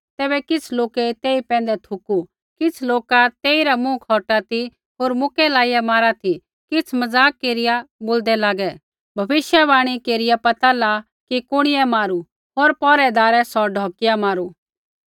तैबै किछ़ लोकै तेई पैंधै थुकू किछ़ लोका तेइरा मुँह खौटा ती होर मुक्कै लाइया मारा ती किछ़ मज़ाक केरिया बोलदै लागै भविष्यवाणी केरिया पता ला कि कुणिऐ मारू होर पौहरैदारै सौ ढौकिया मारू